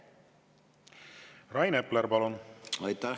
Rain Epler, palun!